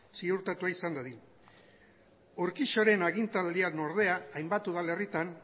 ziurtatua izan dadin urquijoren agintaldian ordean hainbat udalerritan